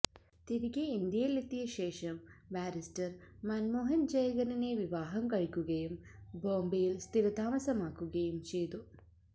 തിരികെ ഇന്ത്യയിലെത്തിയ ശേഷം ബാരിസ്റ്റർ മന്മോഹൻ ജയകറിനെ വിവാഹം കഴിക്കുകയും ബോംബേയിൽ സ്ഥിരതാമസമാക്കുകയും ചെയ്തു